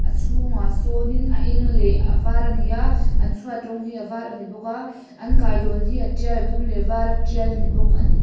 a chhungah sawn in a eng leh a var ani a an chhuat rawng hi a var ani bawk a an kailawn hi a tial a dum leh a var a tial ani bawk ani.